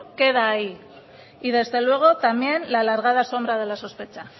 queda ahí y desde luego también la alargada sombra de la sospecha